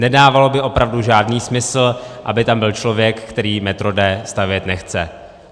Nedávalo by opravdu žádný smysl, aby tam byl člověk, který metro D stavět nechce.